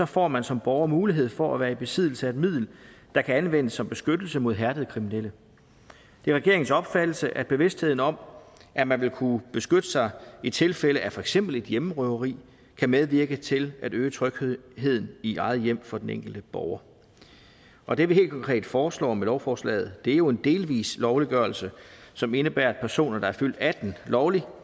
får man som borger mulighed for at være i besiddelse af et middel der kan anvendes som beskyttelse mod hærdede kriminelle det er regeringens opfattelse at bevidstheden om at man vil kunne beskytte sig i tilfælde af for eksempel et hjemmerøveri kan medvirke til at øge trygheden i eget hjem for den enkelte borger og det vi helt konkret foreslår med lovforslaget er jo en delvis lovliggørelse som indebærer at personer der er fyldt atten år lovligt